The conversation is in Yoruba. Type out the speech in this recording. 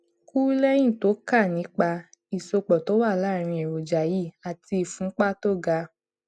kù léyìn tó kà nípa ìsopò tó wà láàárín èròjà yìí àti ìfúnpá tó ga